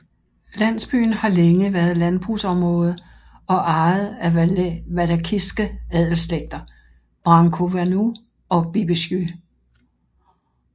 Landsbyen har længe været landbrugsområde og ejet af Valakiske adelsslægter Brâncoveanu og Bibescu